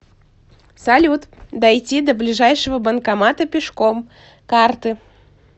салют дойти до ближайшего банкомата пешком карты